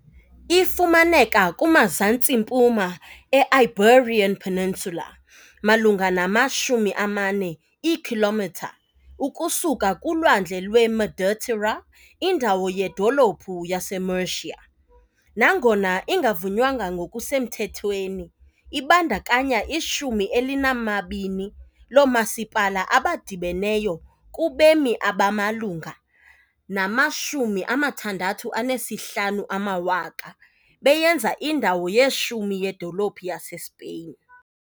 Ifumaneka kumazantsi-mpuma e-Iberian Peninsula malunga nama-40 iikhilomitha ukusuka kuLwandle lweMeditera, indawo yedolophu yaseMurcia, nangona ingavunywanga ngokusemthethweni, ibandakanya ishumi elinambini loomasipala abadibeneyo kubemi abamalunga nama-650,000 bebonke, beyenza indawo ye-10 yedolophu yaseSpain.